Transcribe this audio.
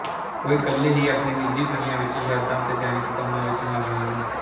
ਉਹ ਇਕੱਲੇ ਹੀ ਆਪਣੀ ਨਿਜੀ ਦੁਨੀਆ ਵਿੱਚ ਯਾਦਾਂ ਅਤੇ ਦੈਨਿਕ ਕੰਮਾਂ ਵਿੱਚ ਮਗਨ ਹਨ